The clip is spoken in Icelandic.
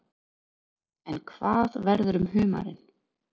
En hvað verður um humarinn?